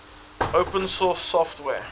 open source software